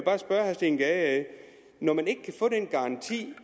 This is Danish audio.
steen gade når man ikke kan få en garanti